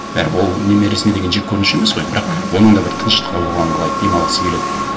бәрі бір ол немересіне деген жеккөрініш емес қой бірақ оның да бір тыныштығы болғанын қалайды демалғысы келеді